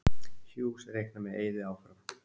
Hughes reiknar með Eiði áfram